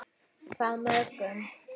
Hvað mörgum?